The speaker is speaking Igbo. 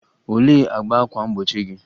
Olee agba ákwà mgbochi gị?